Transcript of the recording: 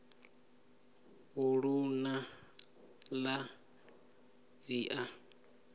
u ṱun ḓa dzi a